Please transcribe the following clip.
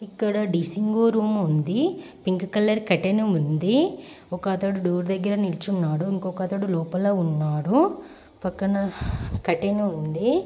ఇక్కడ dressing room ఉంది. Pink colour curtain ఉంది. ఒకతడు డోర్ దగ్గర నిల్చున్నాడు. ఇంకోకతడు లోపల ఉన్నాడు. పక్కన కట్టెను ఉంది.